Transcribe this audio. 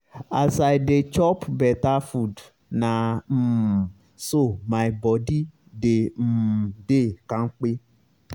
as i dey chop beta food na um so my body dey um dey kampe